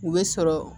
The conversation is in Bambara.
U bɛ sɔrɔ